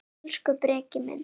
Elsku Breki minn.